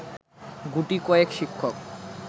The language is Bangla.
গুটিকয়েক শিক্ষক